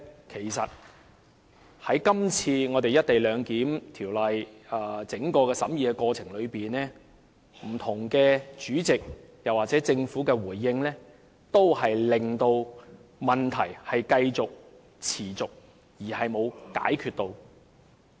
其實，在今次《廣深港高鐵條例草案》整個審議過程中，不同的主席或政府作出的回應均未能解決問題，只讓問題繼續下去。